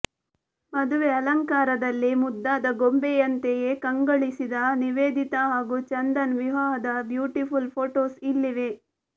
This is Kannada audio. ಮದುವೆ ಅಲಂಕರಾದಲ್ಲಿ ಮುದ್ದಾದ ಗೊಂಬೆಯಂತೆಯೇ ಕಂಗೊಳಿಸಿದ ನಿವೇದಿತಾ ಹಾಗೂ ಚಂದನ್ ವಿವಾಹದ ಬ್ಯೂಟಿಫುಲ್ ಫೋಟೋಸ್ ಇಲ್ಲಿವೆ